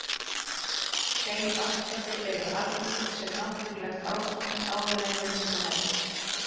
Hrein vatnskerfi eru algengust sem náttúrlegt ástand áður en vinnsla hefst.